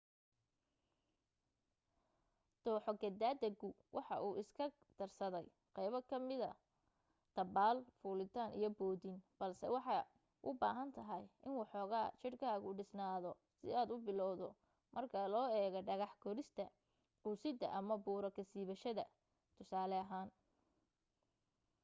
dooxo ka daadagu waxa uu iska darsaday qaybo ka mida dabbaal fuulitaan iyo bootin -- balse waxay u baahan tahay in waxooga jirkaagu dhisnaado si aad u bilowdo marka loo eego dhagax korista quusidda ama buuro ka siibashada tusaale ahaan